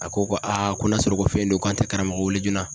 A ko ko ko n'a sɔrɔ ko fɛn don k'an tɛ karamɔgɔ weele joona